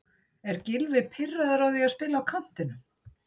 Er Gylfi pirraður á því að spila á kantinum?